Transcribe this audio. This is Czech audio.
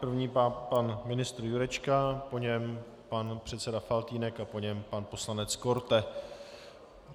První pan ministr Jurečka, po něm pan předseda Faltýnek a po něm pan poslanec Korte.